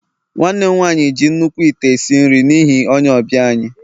nwanne m nwanyi ji nnukwu ite esi nri n'ihi onye ọbịa anyi